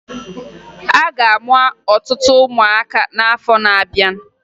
A ga-amụ ọtụtụ ụmụaka n'afọ na-abịa